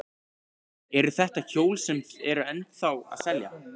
Eru þetta hjól sem eru ennþá að selja?